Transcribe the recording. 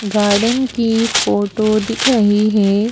Garden की photo दिख रही है।